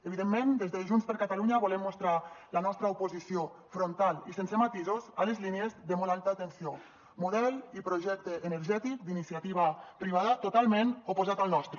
evidentment des de junts per catalunya volem mostrar la nostra oposició frontal i sense matisos a les línies de molt alta tensió model i projecte energètic d’iniciativa privada totalment oposat al nostre